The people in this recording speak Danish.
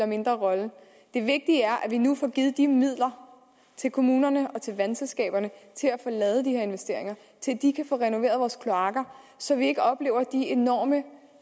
mindre rolle det vigtige er at vi nu får givet de midler til kommunerne og til vandsselskaberne til at få lavet de her investeringer til at de kan få renoveret vores kloakker så vi ikke oplever de enorme